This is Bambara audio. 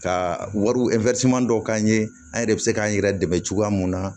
Ka wariw dɔw k'an ye an yɛrɛ bɛ se k'an yɛrɛ dɛmɛ cogoya mun na